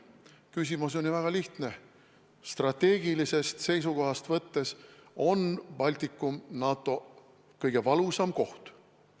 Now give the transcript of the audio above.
Küsimus on ju väga lihtne: strateegilisest seisukohast võttes on Baltikum NATO kõige valusam koht.